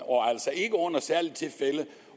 altså ikke under særlige tilfælde